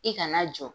I kana jɔ